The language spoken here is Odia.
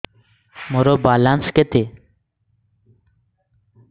ମୋର ବାଲାନ୍ସ କେତେ